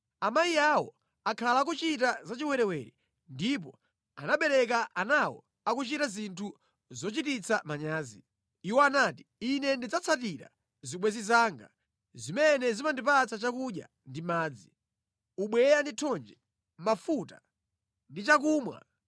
Amayi awo akhala akuchita zachiwerewere ndipo anawabereka anawo akuchita zinthu zochititsa manyazi. Iwo anati, ‘Ine ndidzatsatira zibwenzi zanga, zimene zimandipatsa chakudya ndi madzi, ubweya ndi thonje, mafuta ndi chakumwa.’